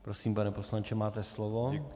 Prosím, pane poslanče, máte slovo.